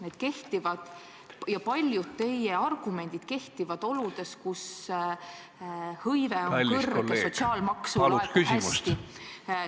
Need ja paljud teised teie argumendid kehtivad oludes, kus tööhõive on kõrge ja sotsiaalmaksu laekub hästi.